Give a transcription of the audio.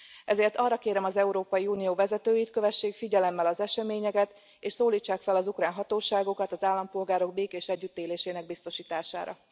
Ezért arra kérem az Európai Unió vezetőit, kövessék figyelemmel az eseményeket, és szólítsák fel az ukrán hatóságokat az állampolgárok békés együttélésének biztosítására.